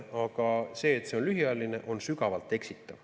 Aga see, et see on lühiajaline, on sügavalt eksitav.